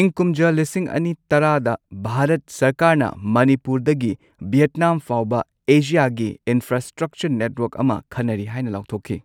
ꯏꯪ ꯀꯨꯝꯖꯥ ꯂꯤꯁꯤꯡ ꯑꯅꯤ ꯇꯔꯥꯗ ꯚꯥꯔꯠ ꯁꯔꯀꯥꯔꯅ ꯃꯅꯤꯄꯨꯔꯗꯒꯤ ꯚꯤꯌꯦꯠꯅꯥꯝ ꯐꯥꯎꯕ ꯑꯦꯁꯤꯌꯥꯒꯤ ꯏꯅꯐ꯭ꯔꯥꯁ꯭ꯇ꯭ꯔꯛꯆꯔ ꯅꯦꯠꯋꯔꯛ ꯑꯃ ꯈꯟꯅꯔꯤ ꯍꯥꯏꯅ ꯂꯥꯎꯊꯣꯛꯈꯤ꯫